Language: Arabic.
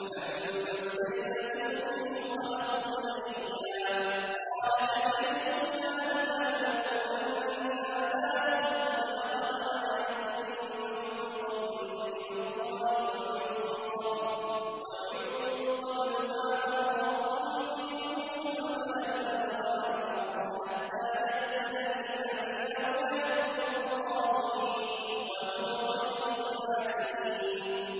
فَلَمَّا اسْتَيْأَسُوا مِنْهُ خَلَصُوا نَجِيًّا ۖ قَالَ كَبِيرُهُمْ أَلَمْ تَعْلَمُوا أَنَّ أَبَاكُمْ قَدْ أَخَذَ عَلَيْكُم مَّوْثِقًا مِّنَ اللَّهِ وَمِن قَبْلُ مَا فَرَّطتُمْ فِي يُوسُفَ ۖ فَلَنْ أَبْرَحَ الْأَرْضَ حَتَّىٰ يَأْذَنَ لِي أَبِي أَوْ يَحْكُمَ اللَّهُ لِي ۖ وَهُوَ خَيْرُ الْحَاكِمِينَ